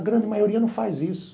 A grande maioria não faz isso.